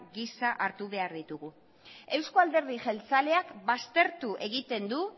gisa hartu behar ditugu euzko alderdi jeltzaleak baztertu egiten du